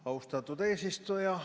Austatud eesistuja!